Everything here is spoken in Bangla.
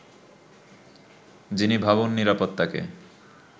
যিনি ভবন নিরাপত্তাকে